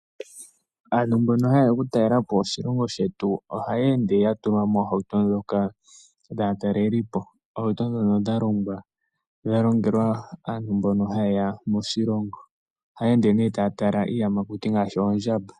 Aantu mbono haye ya okutalelapo oshilongo shetu ohayeende yatulwa moohauto ndhoka dhaatalelipo. Ohauto ndhono dhalongelwa aantu mbono haye ya moshilongo, ohayeende nee taya tala iiyamakuti ngaashi oondjamba.